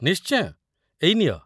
ନିଶ୍ଚୟ! ଏଇ ନିଅ ।